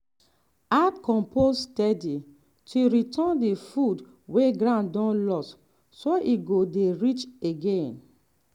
add compost steady to return the food wey ground don lose so e go dey rich again.